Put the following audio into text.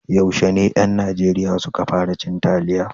Yaushe ne ƴan Najeriya su ka fara cin taliya?